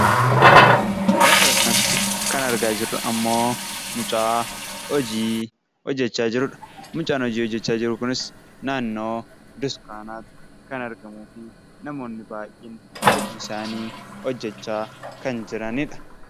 Lafa kanarratti kan argaa jirru immoo mucaa hojii hojjechaa jirudha. Mucaan hojii hojjechaa jiru kunis naannoo kan argamuu fi namoonni baay'een hojii isaanii hojjechaa kan jiranidha.